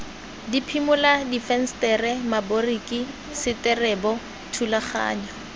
diphimola difensetere maboriki seterebo thulaganyo